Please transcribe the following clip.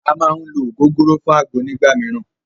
À má ń ló ògógóró fún àgbo nígbà míràn.